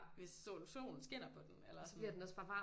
Hvis sol solen skinner på den eller sådan